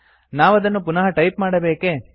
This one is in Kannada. ನಾವದನ್ನು ಪುನಃ ಟೈಪ್ ಮಾಡಬೇಕೇ